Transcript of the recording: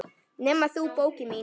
Nema þú, bókin mín.